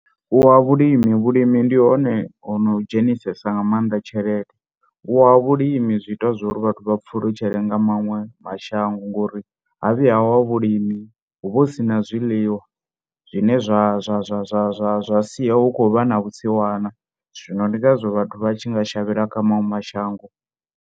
Wa vhulimi, vhulimi ndi hone hono dzhenisa nga maanḓa tshelede. U wa ha vhulimi zwi ita uri vhathu vha pfhulutshele nga maṅwe mashango ngori ha vhuya wa vhulimi hu vha hu si na zwiḽiwa zwine zwa zwa zwa zwa zwa zwa sia hu khou vha na vhusiwana zwino ndi ngazwo vhathu vha tshi nga shavhela kha maṅwe mashango.